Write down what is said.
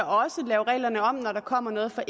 lave reglerne om når der kommer noget fra